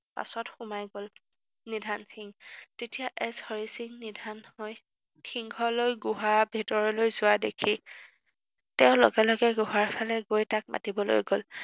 পাছত সোমাই গল। নিধান সিং, যেতিয়া এছ হৰি সিং নিধান হয়, সিংহ লৈ গুহাৰ ভিতৰলৈ যোৱা দেখি তেওঁ লগে লগে গুহাৰ ফালে গৈ তাক মাতিবলৈ গল।